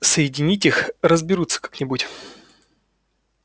соединить их разберутся как-нибудь